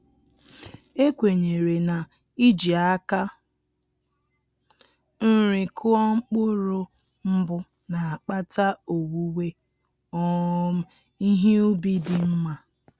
E kwenyere na-iji aka nri kụọ mkpụrụ mbụ na-akpata owuwe um ihe ubi dị nma